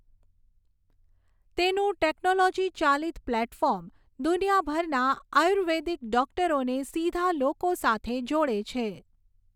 તેનું ટૅક્નૉલૉજી ચાલિત પ્લેટફૉર્મ દુનિયાભરના આયુર્વેદિક ડૉક્ટરોને સીધા લોકો સાથે જોડે છે.